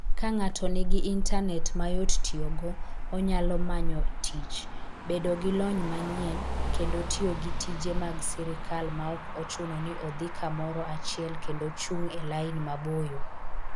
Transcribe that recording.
Ka ng'ato nigi intanet mayot tiyogo, onyalo manyo tich, bedo gi lony manyien, kendo tiyo gi tije mag sirkal maok ochuno ni odhi kamoro achiel kendo chung' e lain maboyo.